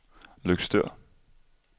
Løgstør